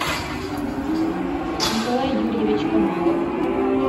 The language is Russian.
николай юрьевич камалов